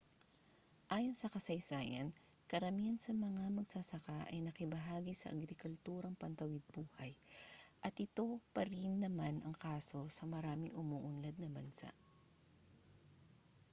ayon sa kasaysayan karamihan sa mga magsasaka ay nakibahagi sa agrikulturang pantawid-buhay at ito pa rin naman ang kaso sa maraming umuunlad na bansa